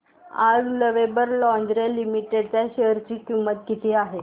आज Lovable Lingerie Limited च्या share ची किंमत किती आहे